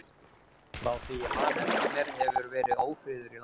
Frá því að ég man eftir mér hefur verið ófriður í landinu.